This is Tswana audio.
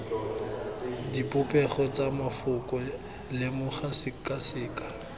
dipopego tsa mafoko lemoga sekaseka